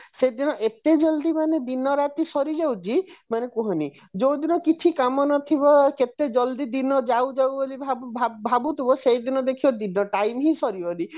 ସେଦିନ ଏତେ ଜଲ୍ଦି ମାନେ ଦିନ ରାତି ସରି ଯାଉଛି ମାନେ କୁହନି ଯୋଉଦିନ କିଛି କାମ ନଥିବ କେତେ ଜଲ୍ଦି ଦିନ ଯାଉ ଯାଉ ବୋଲି ଭାବି ଭାବୁଥିବ ସେଇ ଦିନ ଦେଖିବ time ହିଁ ସରିବନି